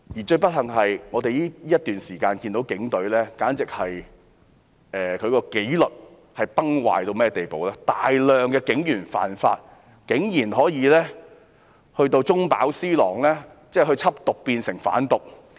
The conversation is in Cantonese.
最不幸的是，我們在這段時間看到警隊的紀律簡直是崩壞，有大量警員犯法，而且竟然有警員中飽私囊，緝毒變成販毒。